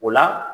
O la